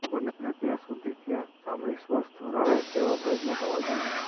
બને ત્યાં સુધી ત્યાં ચામડી સ્વસ્થ રહે તેવા પ્રયત્નો કરવા જોઈએ